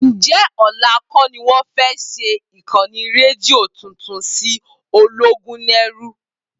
Ǹjẹ́ ọ̀la kọ́ ni wọ́n fẹ́ ṣí ìkànnì rédíò tuntun sí Ológúnẹrú?